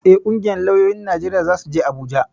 Eh, ƙungiyar lauyoyin Najeriya zasu je Abuja gobe